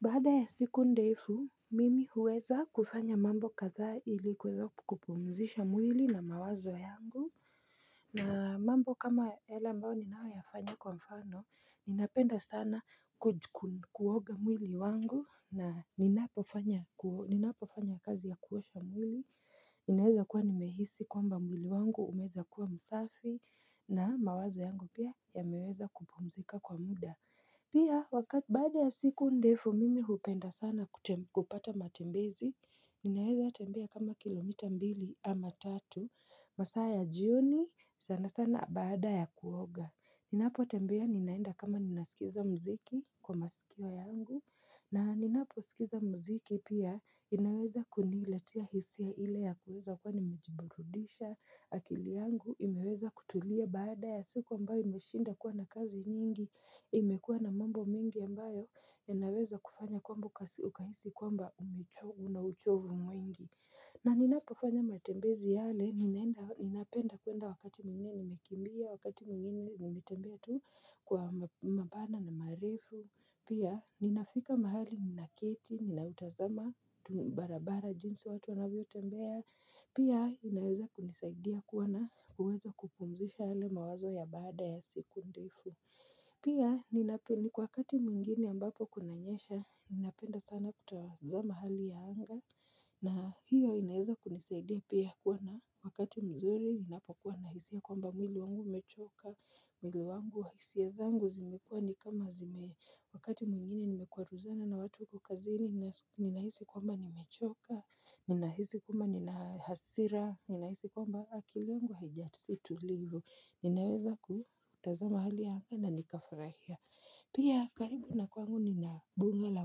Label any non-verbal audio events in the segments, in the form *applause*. Baada ya siku ndefu, mimi huweza kufanya mambo kadhaa ili kuweza kupumzisha mwili na mawazo yangu. Na mambo kama hela ambayo ninayoyafanya kwa mfano, ninapenda sana kuoga mwili wangu, na ninapofanya ku ninapofanya kazi ya kuosha mwili, inaweza kuwa nimehisi kwamba mwili wangu umeweza kuwa msafi, na mawazo yangu pia yameweza kupumzika kwa muda. Pia baada ya siku ndefu mimi hupenda sana kupata matembezi, ninaweza tembea kama kilomita mbili ama tatu, masaa ya jioni sana sana baada ya kuoga. Ninapotembea ninaenda kama ninaskiza mziki kwa masikio yangu na ninaposikiza mziki pia inaweza kuniletea hisia ile ya kuweza kuwa nimejiburudisha, akili yangu imeweza kutulia baada ya siku ambayo imeshinda kuwa na kazi nyingi. Imekuwa na mambo mingi ambayo yanaweza kufanya kwamba ukahisi kwamba umecho una uchovu mwingi. Na ninapofanya matembezi yale, ninapenda kuenda wakati mwingini nimekimbia, wakati mwingini nimetembea tu kwa mapana na maarifu, pia ninafika mahali ninaketi ninaitazama barabara jinsi watu wanavyotembea, pia inaweza kunisaidia kuwa na uwezo wa kupumzisha yale mawazo ya baada ya siku ndefu. Pia, *unintelligible* kwa wakati mwingine ambapo kunanyesha, ninapenda sana kutazama hali ya anga na hiyo inaweza kunisaidia pia kuwa na wakati mzuri, ninapokuwa na hisia kwamba mwili wangu umechoka, mwili wangu hisia zangu zimekuwa ni kama zime, wakati mwingine nimekwaruzana na watu huko kazini ninahisi kwamba nimechoka, ninahisi kwamba nina hasira, ninahisi kwamba akili yangu haija si tulivu. Ninaweza kutazama hali ya anga na nikafurahia. Pia karibu na kwangu nina mbuga la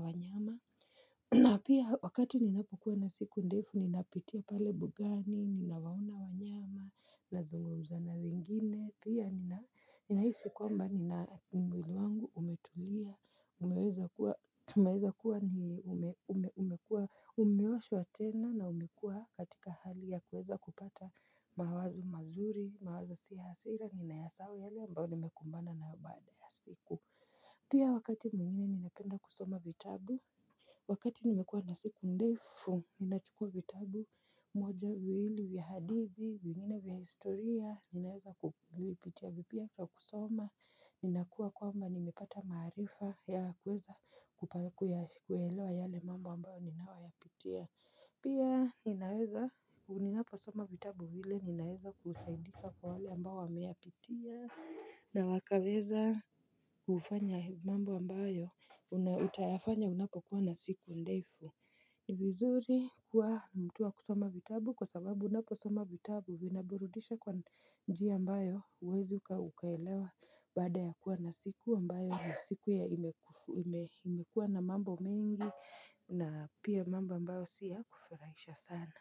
wanyama na pia wakati ninapokuwa na siku ndefu ninapitia pale mbugani, ninawaona wanyama, nazungumza na wengine. Pia ninahisi kwamba nina mwili wangu umetulia umeweza kuwa umekuwa umeosha tena na umekuwa katika hali ya kuweza kupata mawazo mazuri, mawazo si ya hasira, ninayasahau yale ambayo nimekumbana nayo baada ya siku Pia wakati mwingine ninapenda kusoma vitabu Wakati nimekuwa na siku ndefu, ninachukua vitabu mwoja viwili vya hadithi, vingine vya historia, ninaweza kupitia vipya kwa kusoma. Ninakuwa kwamba nimepata maarifa ya kuweza kupa kuyaelewa yale mambo ambayo ninayoyapitia Pia ninaweza, unapo soma vitabu zile ninaweza kusaidika kwa wale ambao wameyapitia na wakaweza kufanya mambo ambayo, utayafanya unapokuwa na siku ndefu ni vizuri kuwa mtu wa kusoma vitabu kwa sababu unaposoma vitabu vinaburudisha kwa njia ambayo huwezi uka ukaelewa baada ya kuwa na siku ambayo ya siku ya imekuwa na mambo mingi na pia mambo ambayo siy a kufarahisha sana.